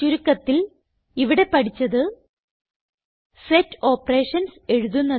ചുരുക്കത്തിൽ ഇവിടെ പഠിച്ചത്160 സെറ്റ് ഓപ്പറേഷൻസ് എഴുതുന്നത്